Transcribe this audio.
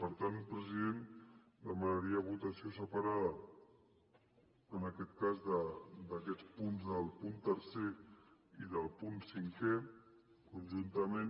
per tant president demanaria votació separada en aquest cas d’aquests punts del punt tercer i del punt cinquè conjuntament